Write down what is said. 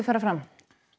fram